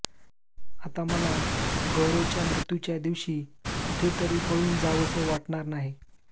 आता मला गौरवच्या मृत्यूच्या दिवशी कुठेतरी पळून जावंस वाटणार नाही